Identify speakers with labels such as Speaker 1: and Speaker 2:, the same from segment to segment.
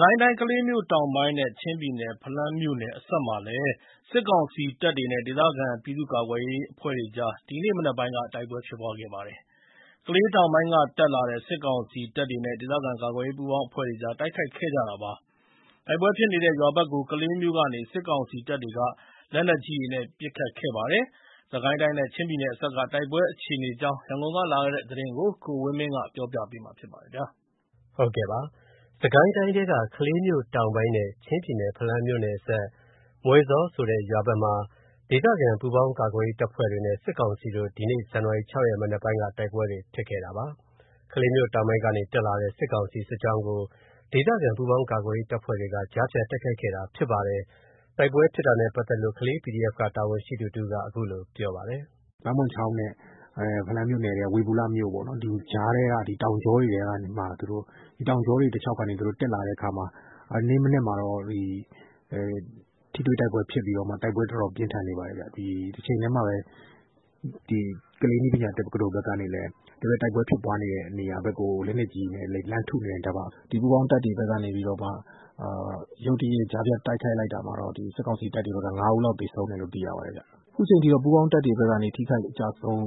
Speaker 1: ကိုင်းတိုင်း၊ ကလေးမြို့တောင်ပိုင်းနဲ့ ချင်းပြည်နယ်၊ ဖလမ်းမြို့နယ်အစပ်မှာလည်း စစ်ကောင်စီတပ်တွေနဲ့ ဒေသခံပြည်သူ့ကာကွယ်ရေးအဖွဲ့တွေကြား ဒီနေ့မနက်ပိုင်းက တိုက်ပွဲဖြစ်ခဲ့ပါတယ်။ ကလေးတောင်ပိုင်းက တက်လာတဲ့ စစ်ကောင်စီတပ်တွေနဲ့ ဒေသခံကာကွယ်ရေး ပူးပေါင်းအဖွဲ့တွေကြား တိုက်ခိုက်ခဲ့ကြတာပါ။ တိုက်ပွဲဖြစ်နေတဲ့ ရွာဘက် ကို ကလေးမြို့ကနေ စစ်ကောင်စီတပ်တွေက လက်နက်ကြီးတွေနဲ့ ပစ်ခတ်ခဲ့ပါ တယ်။ စစ်ကိုင်းတိုင်းနဲ့ ချင်းပြည်နယ်အစပ်က တိုက်ပွဲအခြေအနေအကြောင်းရန်ကုန်ကလာတဲ့သတင်းကို ကိုဝင်းမင်းက တင်ပြပေးထားပါတယ်။ စစ်ကိုင်းတိုင်းထဲက ကလေးမြို့တောင်ပိုင်းနဲ့ ချင်းပြည်နယ်၊ ဖလမ်းမြို့နယ်အစပ်၊ မွယ်ဇောလ်ဆိုတဲ့ ရွာဘက် မှာ ဒေသခံပူးပေါင်းကာကွယ်ရေးတပ်ဖွဲ့တွေနဲ့ စစ်ကောင်စီတို့ ဒီကနေ့ ဇန်နဝါရီ ၆ ရက် မနက်ပိုင်းက တိုက်ပွဲတွေဖြစ်ခဲ့တာပါ။ ကလေးမြို့တောင်ပိုင်းကနေ တက်လာတဲ့ စစ်ကောင်စီ စစ်ကြောင်းကို ဒေသခံ ပူးပေါင်းကာကွယ်ရေး တပ်ဖွဲ့တွေက ကြားဖြတ် တိုက်ခိုက်ခဲ့တာဖြစ်ပါတယ်။ တိုက်ပွဲဖြစ်တာနဲ့ ပတ်သက်လို့ ကလေး PDF က တာဝန်ရှိသူတဦးက အခုလိုပြောပါတယ်။ “ပါမွန်ချောင်း နဲ့ ဖလမ်းမြို့နယ်က ဝေဘူလမြို့ပေါ့နော် ကြားထဲက တောင်ကြောတွေတလျှောက် တက်လာတဲ့အခါမှာ ထိတွေ့တိုက်ပွဲဖြစ်ပြီးတော့မှ တိုက်ပွဲ တော်တော် ပြင်းထန်နေပါတယ်။ တချိန်တည်းမှာပဲ ကလေးနည်းပညာတက္ကသိုလ်ဘက်ကနေပြီး တိုက်ပွဲ ဖြစ်ပွားနေတဲ့ နေရာတွေကို လက်နက်ကြီးတွေနဲ့ လှမ်းထုနေတယ်။ ပူးပေါင်းတပ်တွေဘက်ကနေပြီးတော့ ရုတ်တရက် ကြားဖြတ်တိုက်ခိုက်လို့ စစ်ကောင်စီဘက်က ၅ ဦး လောက်သေဆုံးတယ်လို့သိရတယ်။ အခုချိန်ထိတော့ ပူးပေါင်း တပ်တွေဘက်ကနေ အကျအဆုံး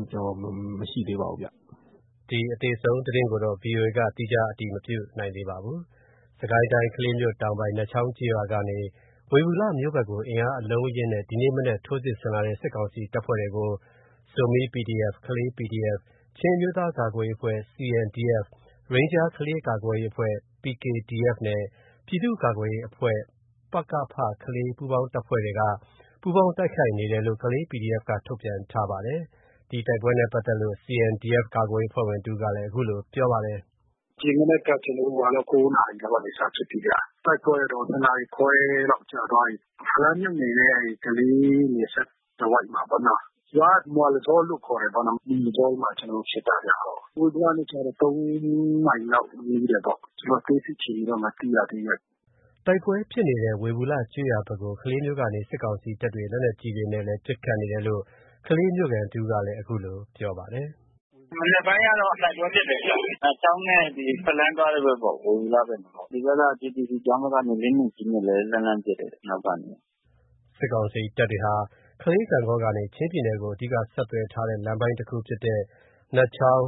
Speaker 1: ရှိတယ်လို့ မသိရသေးပါဘူး။” အသေအဆုံးသတင်းကို ဗီအိုအေက သီးခြားအတည်မပြုနိုင်သေးပါဘူး။ စစ်ကိုင်းတိုင်း၊ ကလေးမြို့တောင်ပိုင်း၊ နတ်ချောင်းကျေးရွာကနေ ဝေဘူလမြို့ဘက်ကို အင်အားအလုံး အရင်းနဲ့ ဒီနေ့မနက် ထိုးစစ်ဆင်လာတဲ့ စစ်ကောင်စီတပ်ဖွဲ့တွေကို Zomi PDF ၊ ကလေး PDF ၊ ချင်းအမျိုးသားကာကွယ်ရေးအဖွဲ့ CNDF ၊ ရိန်းဂျား ကလေး ကာကွယ်ရေးအဖွဲ့ RKDF နဲ့ ပြည်သူ့ကာကွယ်ရေးအဖွဲ့ ပကဖ ပူးပေါင်းတပ်ဖွဲ့တွေက ပူးပေါင်းတိုက်ခိုက်နေတယ်လို့ Kalay PDF က ထုတ်ပြန်ထားပါတယ်။ ဒီတိုက်ပွဲနဲ့ပတ်သက်လို့ CNDF ကာကွယ်ရေးအဖွဲ့ဝင်တဦးကလည်း ခုလိုပြောပါတယ်။
Speaker 2: “ဒီမနက် ကျနော်တို့၉ နာရီလောက်က စဖြစ်ပြီးဗျ။ တိုက်ပွဲကတော့ ၂ နာရီခွဲလောက်တော့ကြာသွားပြီ။ ဖလမ်းမြို့နယ်ထဲက ကလေးနယ်စပ်တဝိုက်မှာပေါ့နော်။ ရွာက မွယ်ဇောလ်လို့ ခေါ်တာပေါ့နော်။ မွယ်ဇောလ်ထဲမှာ ကျနော်တို့ဖြစ်တာဟုတ်။ ဝေဘူလနဲ့ဆို ၃ မိုင်လောက်ဝေးတယ်ပေါ့။ အသေးစိတ် အခြေအနေတော့မသိရသေးဘူး။”
Speaker 1: တိုက်ပွဲဖြစ်နေတဲ့ ဝေဘူလကျေးရွာဘက်ကို ကလေးမြို့ကနေ စစ်ကောင်စီတပ်တွေ လက်နက်ကြီးတွေ နဲ့လည်း ပစ်ခတ်နေတယ်လို့ ကလေးမြို့ခံတဦးကလည်း ခုလို ပြောပါတယ်။
Speaker 2: “မနက်ပိုင်းကတော့တိုက်ပွဲဖြစ်တယ်။ အဲဒီ နတ်ချောင်းနဲ့ဖလမ်းသွားတဲ့ဘက်ပေါ့။ ဝေဘူလဘက်။ ဒီဘက်က GTC ကျောင်းဘက်က လက်နက်ကြီးနဲ့ လှမ်းလှမ်းထုနေတယ်။ အနောက်ကနေ။
Speaker 1: ” စစ်ကောင်စီတပ်တွေဟာ ကလေး-ဂန့်ဂေါကနေ ချင်းပြည်နယ်ကို အဓိက ဆက်သွယ် ထားတဲ့ လမ်းပိုင်းတခု ဖြစ်တဲ့ နတ်ချောင်း-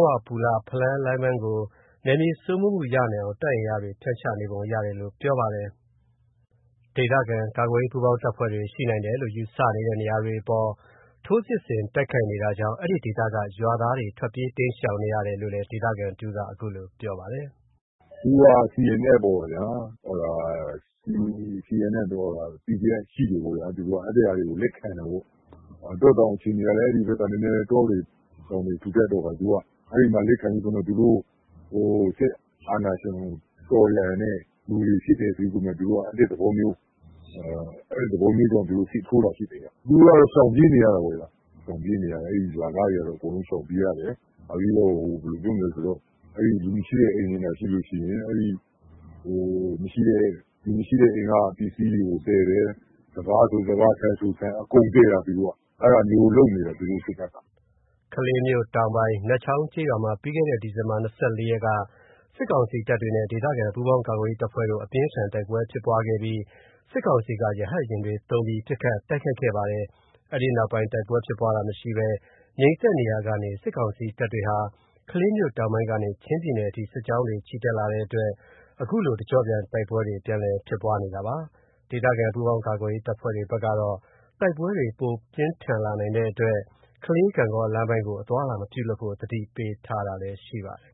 Speaker 1: ဝေဘူလ-ဖလမ်း လမ်းပိုင်းကို နယ်မြေစိုးမိုးမှုရနိုင်အောင် တပ်အင်အားတွေ ဖြန့်ချနေပုံ ရတယ်လို့ ပြောပါတယ်။ ဒေသခံကာကွယ်ရေး ပူးပေါင်းတပ်ဖွဲ့တွေရှိနိုင်တယ်လို့ ယူဆတဲ့နေရာတွေအပေါ် ထိုးစစ်ဆင်တိုက်ခိုက်နေတာကြောင့် အဲဒီဒေသက ရွာသားတွေ ထွက်ပြေး တိမ်းရှောင်နေရတယ်လို့ ဒေသခံတဦးက အခုလိုပြောပါတယ်
Speaker 2: ။ “CNF ပေါ့ဗျာ။ PDF ရှိတယ်ပေါ့ဗျာ။ အဲ့ဒါတွေကို လက်ခံတယ်ပေါ့။ တောတောင်အခြေအနေကလည်း ဒီဘက်က တောတွေတောင်တွေ ထူထပ်တဲ့အခါကျတော့ အဲ့ဒီမှာ လက်ခံပြီးတော့မှ သူတို့ စစ်အာဏာရှင်ကို တော်လှန်တဲ့သူတွေဖြစ်တယ်ဆိုပြီးတော့မှ အဲ့သဘောမျိုးနဲ့ စစ်ထိုးတာပေါ့ဗျာ။ အခုတော့ ရှောင်ပြေးနေရတာပေါ့ဗျာ။ အဲ့ရွာသားတွေအကုန်လုံးကတော့ ရှောင်ပြေးနေရတယ်။ နောက်ပြီးတော့ လူမရှိတဲ့ အိမ်တွေဆိုရင် လူမရှိတဲ့ အိမ်က ပစ္စည်းတွေကို သယ်တယ်။ စပါးဆို စပါး ဆန်ဆိုဆန် အကုန်သယ်တာ သူတို့ စစ်တပ်က။
Speaker 1: ” ကလေးမြို့တောင်ပိုင်း နတ်ချောင်းကျေးရွာမှာ ပြီးခဲ့တဲ့ ဒီဇင်ဘာ ၂၄ ရက်က စစ်ကောင်စီတပ်တွေနဲ့ ဒေသခံ ပူးပေါင်းကာကွယ်ရေးတပ်ဖွဲ့တို့ အပြင်းအထန် တိုက်ပွဲဖြစ်ပွားခဲ့ပြီး စစ်ကောင်စီက ရဟတ်ယာဉ်တွေ သုံးပြီး ပစ်ခတ်တိုက်ခိုက်ခဲ့ပါတယ်။ အဲဒီနောက်ပိုင်း တိုက်ပွဲဖြစ်ပွားတာမရှိဘဲ ငြိမ်သက်နေရာကနေ စစ်ကောင်စီ တပ်တွေဟာ ကလေးမြို့ တောင်ပိုင်းကနေ ချင်းပြည်နယ်အထိ စစ်ကြောင်းတွေချီတက်လာတဲ့အတွက် အခုလို တကျော့ပြန် တိုက်ပွဲတွေ ပြန်လည် ဖြစ်ပွားနေတာပါ။ ဒေသခံပူးပါင်းကာကွယ်ရေး တပ်ဖွဲ့တွေဘက်ကတော့ တိုက်ပွဲတွေ ပိုပြီး ပြင်းထန်လာနိုင်တဲ့အတွက် ကလေး - ဂန့်ဂေါ လမ်းပိုင်းကို အသွားအလာ မပြုလုပ်ဖို့ အသိပေးထားတာလည်းရှိပါတယ်